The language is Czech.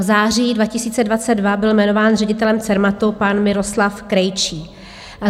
V září 2022 byl jmenován ředitelem Cermatu pan Miroslav Krejčí.